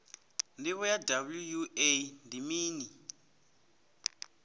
ndivho ya wua ndi mini